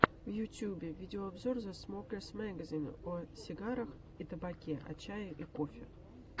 в ютюбе видеообзор зэ смокерс мэгазин о сигарах и табаке о чае и кофе